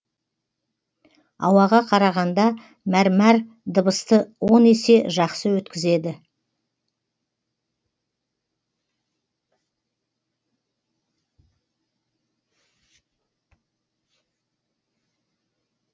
ауаға қарағанда мәрмәр дыбысты он есе жақсы өткізеді